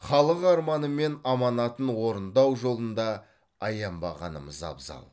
халық арманы мен аманатын орындау жолында аянбағанымыз абзал